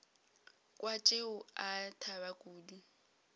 kwa tšeo a thaba kudu